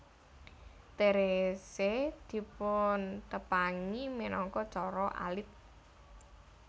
Therese dipuntepangi minangka Cara Alit